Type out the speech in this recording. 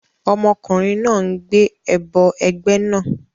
Ọmọkùnrin náà ń gbé ẹbọ ẹgbẹ́ náà